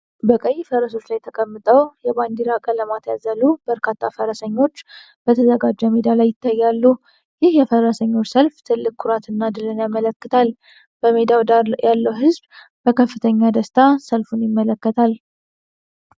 በቀይ ፈረሶች ላይ ተቀምጠው የባንዲራ ቀለማት ያዘሉ በርካታ ፈረሰኞች በተዘጋጀ ሜዳ ላይ ይታያሉ። ይህ የፈረሰኞች ሰልፍ ትልቅ ኩራትና ድልን ያመለክታል። በሜዳው ዳር ያለው ህዝብ በከፍተኛ ደስታ ሰልፉን ይመለከታል።